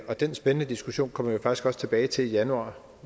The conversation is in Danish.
og den spændende diskussion kommer vi jo faktisk også tilbage til i januar